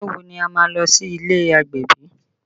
Ọjọ́ wo ni a má lọ sí ilé agbẹ̀bí?